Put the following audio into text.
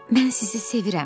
Mən sizi sevirəm.